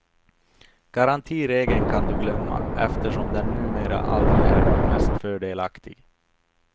Garantiregeln kan du glömma, eftersom den numera aldrig är mest fördelaktig.